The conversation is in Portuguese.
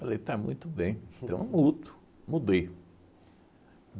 Falei, está muito bem, então mudo, mudei.